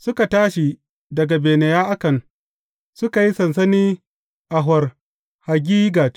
Suka tashi daga Bene Ya’akan, suka yi sansani a Hor Haggidgad.